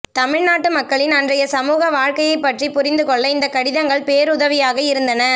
தமிழ்நாட்டு மக்களின் அன்றைய சமூக வாழ்க்கையைப் பற்றி புரிந்து கொள்ள இந்த கடிதங்கள் பேருதவியாக இருந்தன